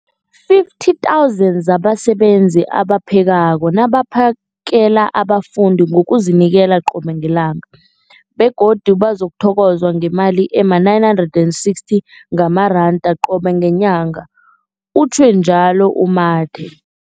50 000 zabasebenzi abaphekako nabaphakela abafundi ngokuzinikela qobe ngelanga, begodu bathokozwa ngemali ema-960 wamaranda qobe ngenyanga, utjhwe njalo u-Mathe.